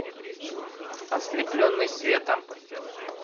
ослепленный светом